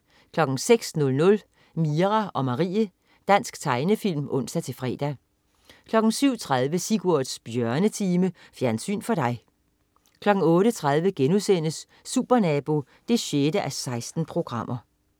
06.00 Mira og Marie. Dansk tegnefilm (ons-fre) 07.30 Sigurds Bjørnetime. Fjernsyn for dig 08.30 Supernabo 6:16*